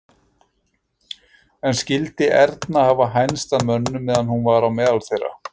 En skyldi Erna hafa hænst að mönnum meðan hún var á meðal þeirra?